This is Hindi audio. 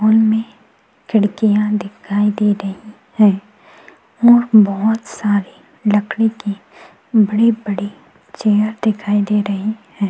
उनमें खिडकियां दिखाई दे रही है और बहुत सारी लकड़ी की बड़ी-बड़ी चेयर दिखाई दे रही है।